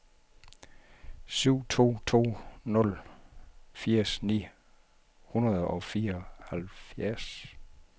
syv to to nul firs ni hundrede og fireoghalvfjerds